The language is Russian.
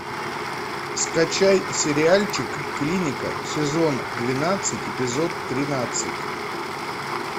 скачай сериальчик клиника сезон двенадцать эпизод тринадцать